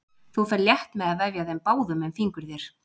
Þú ferð létt með að vefja þeim báðum um fingur þér.